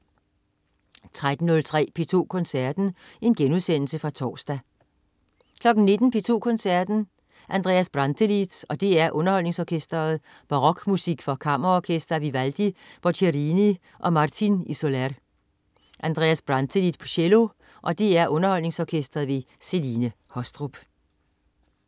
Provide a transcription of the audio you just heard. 13.03 P2 Koncerten. Genudsendelse fra torsdag 19.00 P2 Koncerten. Andreas Brantelid og DR UnderholdningsOrkestret. Barokmusik for kammerorkester af Vivaldi, Boccherini og Martin y Soler. Andreas Brantelid, cello, og DR UnderholdningsOrkestret. Celine Haastrup